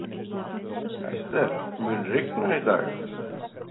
Ester, mun rigna í dag?